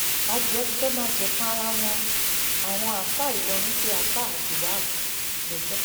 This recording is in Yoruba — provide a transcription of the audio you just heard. adìẹ ti fẹẹ máa jẹfun ara wọn àwọn àáfáà ìlọrin pé àáfà abdulwaab lẹjọ